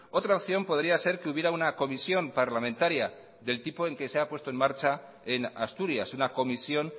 otra opción podría ser que hubiera una comisión parlamentaria del tipo que se ha puesto en marcha en asturias una comisión